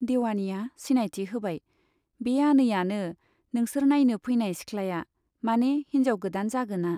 देवानिया सिनायथि होबाय बे आनैयानो, नोंसोर नाइनो फैनाय सिखलाया , माने हिन्जाव गोदान जागोना।